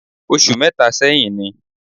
Oṣù mẹ́ta sẹ́yìn ni